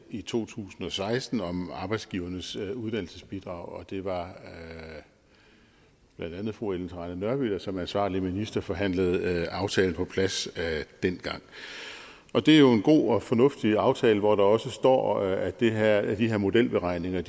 i to tusind og seksten om arbejdsgivernes uddannelsesbidrag og det var blandt andet fru ellen trane nørby der som ansvarlig minister forhandlede aftalen på plads dengang og det er jo en god og fornuftig aftale hvor der også står at de her her modelberegninger